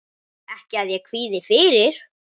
Ekki að ég kvíði fyrir.